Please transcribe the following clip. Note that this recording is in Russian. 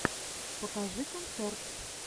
покажи концерт